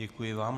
Děkuji vám.